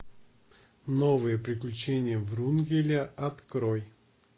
новые приключения врунгеля открой